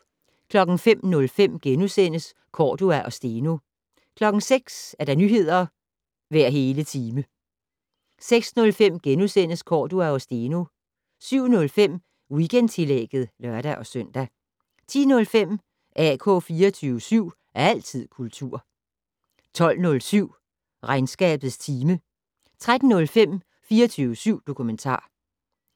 05:05: Cordua og Steno * 06:00: Nyheder hver hele time 06:05: Cordua og Steno * 07:05: Weekendtillægget (lør-søn) 10:05: AK 24syv. Altid kultur 12:07: Regnskabets time 13:05: 24syv dokumentar